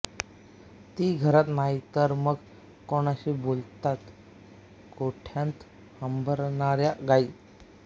ती घरात नाही तर मग कुणाशी बोलतात गोठ्यात हंबरणाऱ्या गायी